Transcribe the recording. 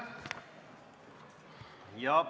Aitäh!